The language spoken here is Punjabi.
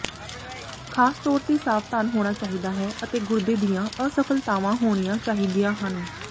ਖਾਸ ਤੌਰ ਤੇ ਸਾਵਧਾਨ ਹੋਣਾ ਚਾਹੀਦਾ ਹੈ ਅਤੇ ਗੁਰਦੇ ਦੀਆਂ ਅਸਫਲਤਾਵਾਂ ਹੋਣੀਆਂ ਚਾਹੀਦੀਆਂ ਹਨ